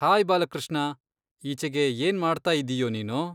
Hi Balakrishna, ಈಚೆಗೆ ಏನ್ ಮಾಡ್ತಾಯಿದೀಯೋ ನೀನು?